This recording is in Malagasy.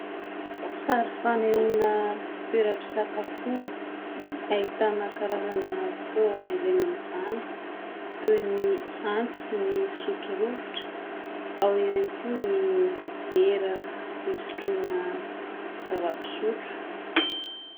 Sary fanehoana toeram-pisakafoana. Ahitana karazana fitaovana ilaina amin'izany toy ny antsy, ny sotro rovitra, ao ihany koa ny vera fisotroana zava-pisotro.